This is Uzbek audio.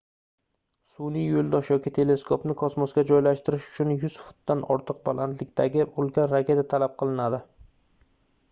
sunʼiy yoʻldosh yoki teleskopni kosmosga joylashtirish uchun 100 futdan ortiq balandlikdagi ulkan raketa talab qilinadi